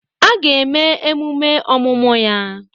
A ga-eme emume ọmụmụ ya.